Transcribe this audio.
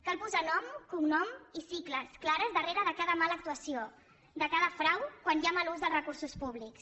cal posar nom cognom i sigles clares darrere de cada mala actuació de cada frau quan hi ha mal ús dels recursos públics